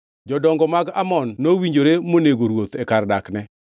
Jodongo mag Amon nowinjore monego ruoth e kar dakne.